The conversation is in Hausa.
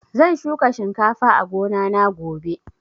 Zan shuka shinkafa a gona na gobe